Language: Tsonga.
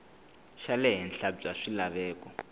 xa le henhla bya swilaveko